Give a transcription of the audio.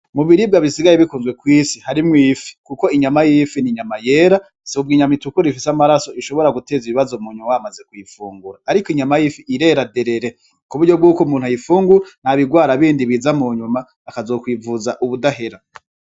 Mu biribwa bisigaye bikunzwe kw'isi harimwo ifi, kuko inyama y'ifi n'inyama yera zo mw'inyama itukura ifise amaraso, ishobora guteza ibibazo bamaze kuyifungura, ariko inyama y'ifi irera derere kuburyo bwuko umuntu ayifungura ntabigwara bindi biza mu nyuma akazokwivuza ubudahera.